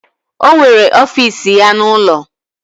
O nwere ọfiisi ya n'ụlọ.